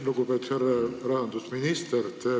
Lugupeetud härra rahandusminister!